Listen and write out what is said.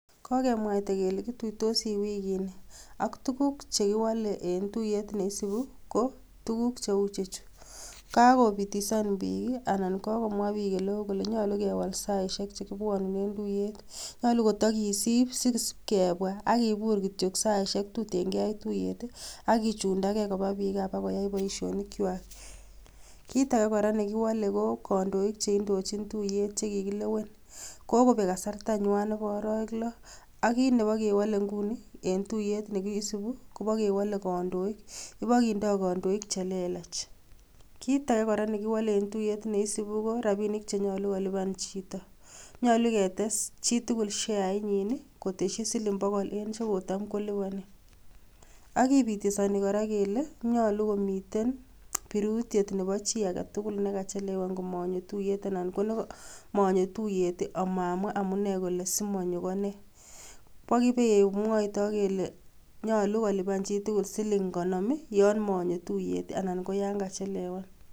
Kokemwaita kele kutuuitosi wikini, ak tuguuk che kiwole en tuyet neisibu kotuguu che ichechu, Kakobitisan biik ak komwa oleo kole nyolu kewal saisiek chekibwonunen tuyeet. Nyolu kotokisib bwanunet nekibwone ak kibuur kityok saisiek tuten ketar, kichundage koba biik koba koyaj boishonikwak, kitage kora nekiwole ko kondoik cheindochin tuyet chekikilewen. kokobek kasartanywan Nebo arawek loo, akit Nebo kewole inguni en tuyet nekibendi kobokewole kondooik, ibo kindo kondoik chelelach. Kitage kora nekiwole en tuyet neisibu korabinik chenyolu kolipan chito, nyolu ketes chitugul sheanyin kotesyii siling bogol en chekotamkeliponi. Ak kibitosoni kora kele nyolu komiten birutiet Nebow chi agetugul nekachelewan komonyoo tuyeet anan konomonnyo tuyet amokon amunee neyaamat.ak kimwoe kora kole nyolu kolipan chitugul siling konoom yon monyoo tuiyet anan ko yon kachelewan